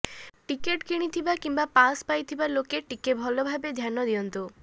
ticket କିଣିଥିବା କିମ୍ବା pass ପାଇଥିବା ଲୋକେ ଟିଏ ଭଲ ଭାବେ ଧ୍ୟାନ ଦିଅନ୍ତୁ